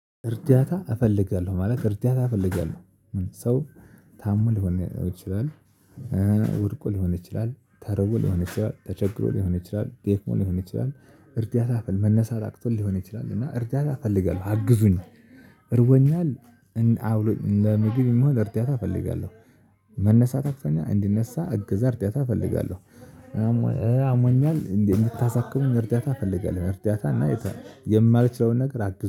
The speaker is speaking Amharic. እርዳታ እፈልጋለሁ ማለት እርዳታ እፈልጋለሁ ሰው ታሞ ሊሆን ይችላል። ወድቆ ሊሆን ይችላል ተርቦ ሊሆን ይችላል ተቸግሮ ሊሆን ይችላል ደክሞ ሊሆን ይችላል እርዳታ በል መነሳት አቅቶት ሊሆን ይችላል እና እርዳታ እፈልጋለሁ አግዙኝ። እርቦኛል። አብሉኝ ለምግብ የሚሆን እርዳታ እፈልጋለሁ። መነሳት አቅቶኛል እንድነሳ እግዛ እርዳታ እፈልጋለሁ። አሟኛል እንዴ? እንድታሳክሙኝ እርዳታ እፈልጋለሁ እርዳታ እና የማልችለውን ነገር አግዝኝ